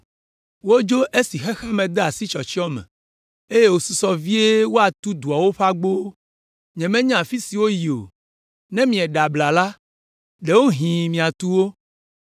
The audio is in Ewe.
Wodzo esi xexea me de asi tsyɔtsyɔ me, eye wòsusɔ vie woatu dua ƒe agbowo. Nyemenya afi si woyi o, ne mieɖe abla la, ɖewohĩ miatu wo!”